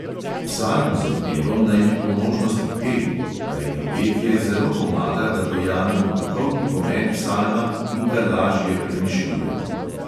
Psalm z odpevom naj bi po možnosti peli, kajti petje zelo pomaga, da dojamemo duhovni pomen psalma in ga lažje premišljujemo.